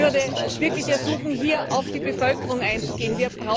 Ich würde wirklich ersuchen, hier auf die Bevölkerung einzugehen.